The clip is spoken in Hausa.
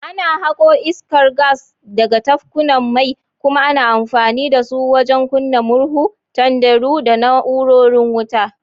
Ana hako iskar gas daga tafkunan mai kuma ana amfani da su wajen kunna murhu, tanderu, da na’urorin wuta.